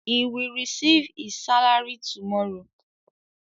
He will receive his salary tomorrow.